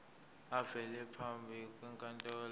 avele phambi kwenkantolo